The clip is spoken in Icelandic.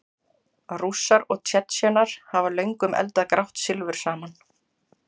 Rússar og Tsjetsjenar hafa löngum eldað grátt silfur saman.